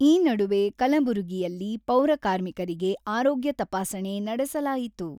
ಈ ನಡುವೆ ಕಲಬುರಗಿಯಲ್ಲಿ ಪೌರಕಾರ್ಮಿಕರಿಗೆ ಆರೋಗ್ಯ ತಪಾಸಣೆ ನಡೆಸಲಾಯಿತು.